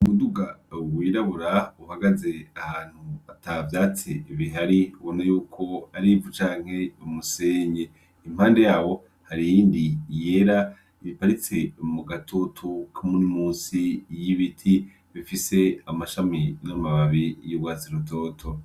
Ubuduga wirabura uhagaze ahantu atavyatse ibihari bona yuko arimvu canke bamusenye impande yabo harindi yera ibiparitse mu gatotu k'umuri musi y'ibiti bifise amashami n'amababi y'ubwatsirutoto.